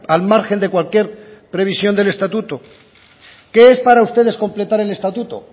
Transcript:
al margen de cualquier previsión del estatuto qué es para ustedes completar el estatuto